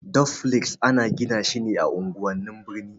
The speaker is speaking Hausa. Dufles ana gina shi ne a unguwan birni.